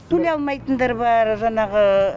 төлей алмайтындар бар жаңағы